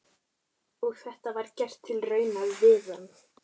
Og var þetta gert til raunar við hann.